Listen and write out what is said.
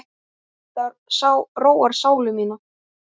Þetta róar sálu mína.